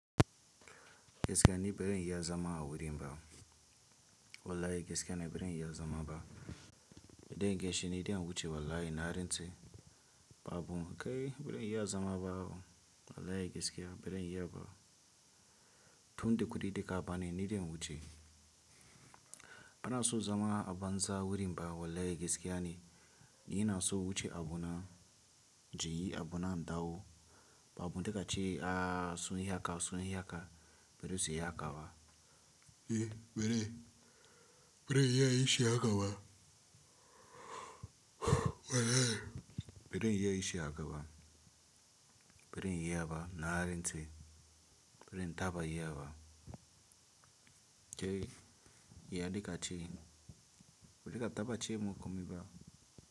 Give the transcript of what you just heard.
Gaskiya ni baran iya zama a wurin ba. Wallahi gaskiya ne baran iya zama ba. Idan kin shuni idan wuce wallahi na rintse. Ba abun kai birin yi ya zama ba. Wallahi gaskiya birin yi ya ba. Tun da kudi da ka bani ni idan wuce. Ana so zama a banza wurin ba wallahi gaskiya ne. Ina so wuce abu na, jiyi abu na mdawo. Ba abun da ka ce aaaa so yi haka, so yi haka. Birin su yi haka ba. Eh birin, birin yi iya yi shi haka ba. Wallahi birin yi iya yi shi haka ba. Birin yi iya ba na rintse. Birin ta ba yi iya ba. Kai, yi hanci ka ce. Bade ka taba cemun komi ba.